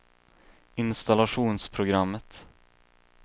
installationsprogrammet